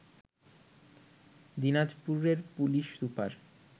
দিনাজপুরের police super